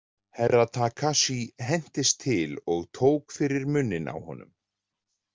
Herra Takashi hentist til og tók fyrir munninn á honum.